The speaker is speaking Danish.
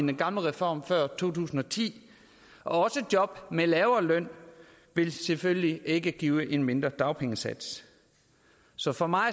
den gamle reform fra to tusind og ti og at job med lavere løn selvfølgelig ikke vil give en mindre dagpengesats så for mig